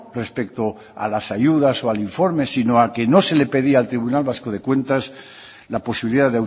respecto a las ayudas o al informe sino a que no se le pedía al tribunal vasco de cuentas la posibilidad